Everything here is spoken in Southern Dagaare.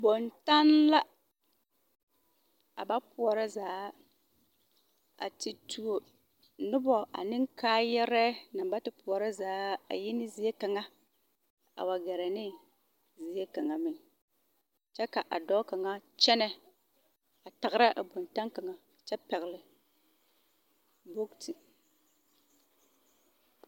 Boŋtanne la a ba pɔɔrɔ zaa a ti tuo nobɔ ane kaayɛrɛɛ naŋ ba ti pɔɔrɔ zaa a yi ne zie kaŋa a wa gɛrɛ neŋ zie kaŋa meŋ kyɛ ka a dɔɔ kaŋa kyɛnɛ a tagra a boŋtaŋ kaŋ kyɛ pɛgle boote.